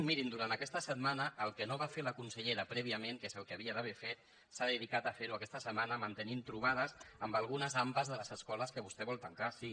mirin durant aquesta setmana el que no va fer la consellera prèviament que és el que havia d’haver fet s’ha dedicat a fer ho aquesta setmana mantenint trobades amb algunes ampa de les escoles que vostè vol tancar sí